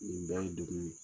Nin bɛɛ ye degun ye.